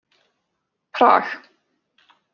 Prag